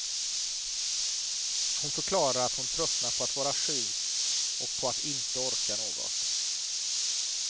Hon förklarar att hon tröttnat på att vara sjuk och på att inte orka något.